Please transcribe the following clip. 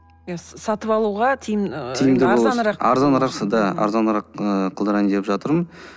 иә сатып алуға ы арзанырақ қылдырайын деп жатырмын